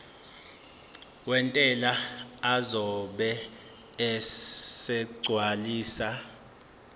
wentela uzobe esegcwalisa